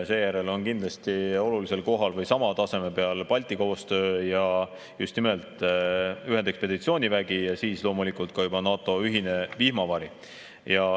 Seejärel on kindlasti olulisel kohal või sama taseme peal Balti koostöö ja just nimelt ühendekspeditsioonivägi ning siis juba NATO ühine vihmavari.